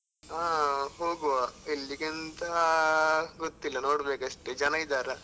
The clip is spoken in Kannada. ಹಾ ಹೋಗುವ ಎಲ್ಲಿಗೇಂತ ಗೊತ್ತಿಲ್ಲ ನೋಡ್ಬೇಕು ಅಷ್ಟೆ ಜನ ಇದ್ದಾರಾ?